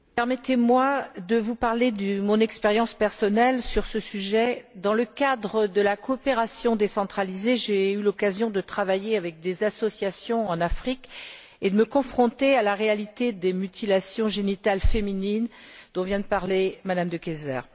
Madame la Présidente, permettez moi de vous parler de mon expérience personnelle sur ce sujet. Dans le cadre de la coopération décentralisée, j'ai eu l'occasion de travailler avec des associations en Afrique et de me confronter à la réalité des mutilations génitales féminines dont vient de parler Mme De Keyser.